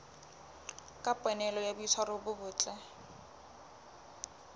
kopanelo ya boitshwaro bo botle